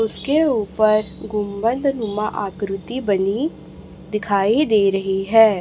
उसके ऊपर गुंबद नुमा आकृति बनी दिखाई दे रही है।